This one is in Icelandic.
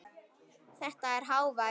Þetta er hávær